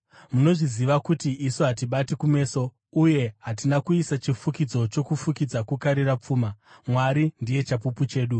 Munozviziva kuti isu hatibati kumeso, uye hatina kuisa chifukidzo chokufukidza kukarira pfuma, Mwari ndiye chapupu chedu.